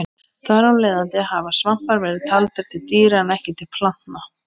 Þar af leiðandi hafa svampar verið taldir til dýra en ekki plantna.